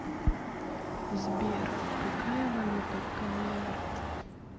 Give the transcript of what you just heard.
сбер какая валюта в кнр